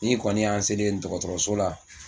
N'i kɔni y'an selen ye dɔgɔtɔrɔso la.